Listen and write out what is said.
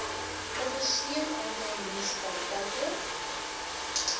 ondersteun aantal munisipaliteite